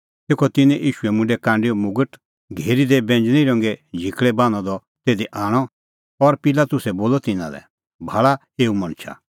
तेखअ तिन्नैं ईशू मुंडै कांडैओ मुगट घेरी दी बैंज़णीं रंगे झिकल़ै बान्हअ द तिधी आणअ और पिलातुसै बोलअ तिन्नां लै भाल़ा एऊ मणछा